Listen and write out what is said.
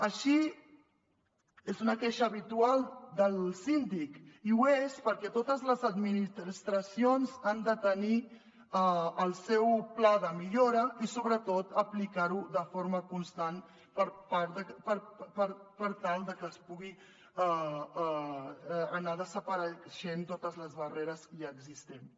així és una queixa habitual del síndic i ho és perquè totes les administracions han de tenir el seu pla de millora i sobretot aplicar lo de forma constant per tal de que puguin anar desapareixent totes les barreres ja existents